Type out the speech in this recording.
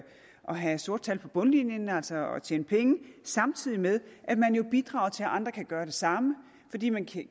have sorte tal på bundlinjen altså at tjene penge samtidig med at man jo bidrager til at andre kan gøre det samme fordi man